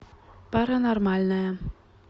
паранормальное